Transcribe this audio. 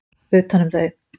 utan um þau.